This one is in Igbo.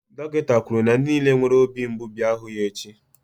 dọkịta kwuru na ndị niile nwere obi mgbu bịa hụ ya echi.